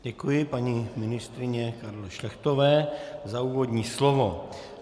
Děkuji paní ministryni Karle Šlechtové za úvodní slovo.